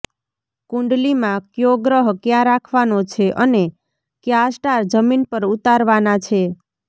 કુંડલીમાં કયો ગ્રહ ક્યાં રાખવાનો છે અને કયા સ્ટાર જમીન પર ઉતારવાના છે